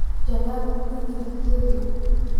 jawaab iimaylka kevo